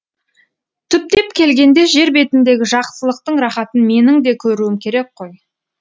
түптеп келгенде жер бетіндегі жақсылықтың рахатын менің де көруім керек қой